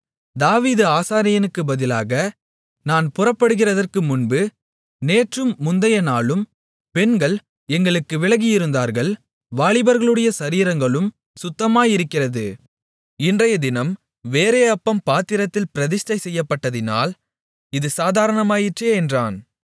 தாவீது ஆசாரியனுக்குப் பதிலாக நான் புறப்படுகிறதற்கு முன்பு நேற்றும் முந்தையநாளும் பெண்கள் எங்களுக்கு விலகியிருந்தார்கள் வாலிபர்களுடைய சரீரங்களும் சுத்தமாயிருக்கிறது இன்றையதினம் வேறே அப்பம் பாத்திரத்தில் பிரதிஷ்டைசெய்யப்பட்டதினால் இது சாதாரணமாயிற்றே என்றான்